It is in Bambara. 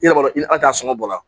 I yɛrɛ b'a dɔn i t'a sɔngɔ bɔ la